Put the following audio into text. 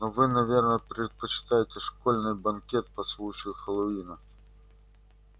но вы наверное предпочитаете школьный банкет по случаю хэллоуина